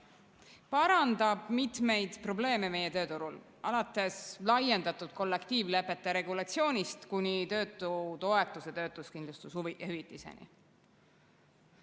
See parandab mitmeid probleeme meie tööturul, alates laiendatud kollektiivlepete regulatsioonist kuni töötutoetuse ja töötuskindlustushüvitiseni.